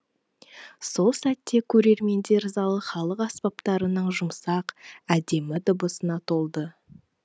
сол сәтте көрермендер залы халық аспаптарының жұмсақ әдемі дыбысына толды